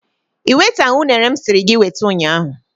I wetaghị unere m siri gị weta ụnyahụ.